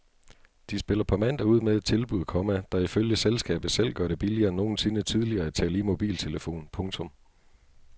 De spiller på mandag ud med et tilbud, komma der ifølge selskabet selv gør det billigere end nogensinde tidligere at tale i mobiltelefon. punktum